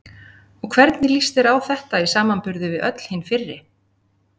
Og hvernig líst þér á þetta í samanburði við öll hin fyrri?